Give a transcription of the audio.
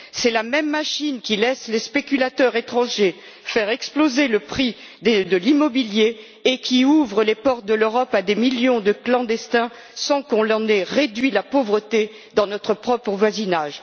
C'est la même machine qui laisse les spéculateurs étrangers faire exploser le prix de l'immobilier et qui ouvre les portes de l'Europe à des millions de clandestins, sans que l'on ait réduit la pauvreté dans notre propre voisinage.